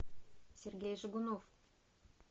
сергей жигунов